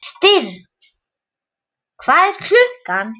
Styrr, hvað er klukkan?